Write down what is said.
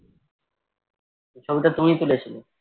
ঐ ছবিটা তুমিই তুলেছিলে?